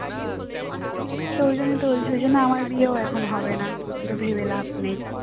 তো ওই জন্যই তো বলছি সেই জন্য আমার বিয়েও এখন হবে না অত ভেবে লাভ নেই